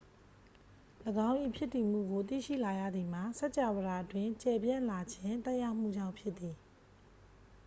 ၎င်း၏ ဖြစ်တည်မှုကို သိရှိလာရသည်မှာ စကြာဝဠာအတွင်း ကျယ်ပြန့်လာခြင်း သက်ရောက်မှုကြောင့် ဖြစ်သည်